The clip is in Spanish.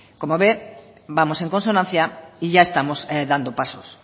como ve vamos en consonancia y ya estamos dando pasos